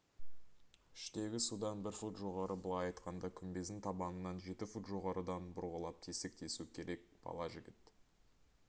іштегі судан бір фут жоғары былай айтқанда күмбездің табанынан жеті фут жоғарыдан бұрғылап тесік тесу керек бала жігіт